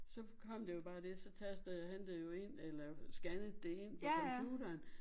Så kom der jo bare det så tastede han det jo ind eller scannede det ind på computeren